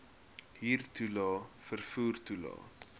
huurtoelae vervoer toelae